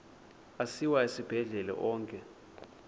asiwa esibhedlele onke